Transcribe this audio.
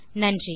நன்றி